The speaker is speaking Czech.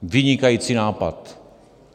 Vynikající nápad.